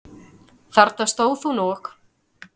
Þarna stóð hún og.